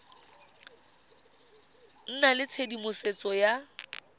nna le tshedimosetso ya go